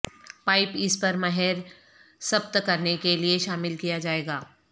pipe اس پر مہر ثبت کرنے کے لئے شامل کیا جائے گا